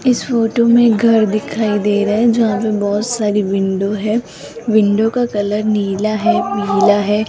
इस फोटो में घर दिखाई दे रहा है जहां पे बहोत सारी विंडो है विंडो का कलर नीला है पीला है।